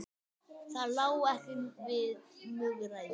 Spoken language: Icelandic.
Það lá ekki við múgræði